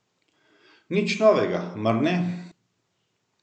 Nič novega, mar ne.